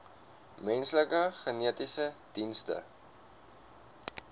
menslike genetiese dienste